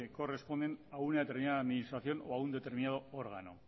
corresponden a una determinada administración o a un determinado órgano